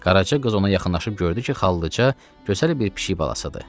Qaraca qız ona yaxınlaşıb gördü ki, xallıca gözəl bir pişik balasıdır.